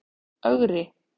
Ögri